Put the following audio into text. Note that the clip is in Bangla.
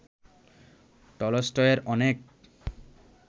টলস্টয়ের অনেক